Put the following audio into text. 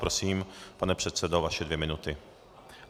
Prosím, pane předsedo, vaše dvě minuty.